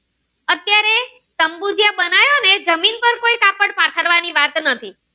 પાથરવાની વાત નથી.